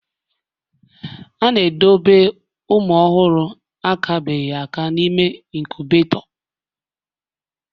A na-edobe ụmụ ọhụrụ akabeghị aka n'ime inkubetoo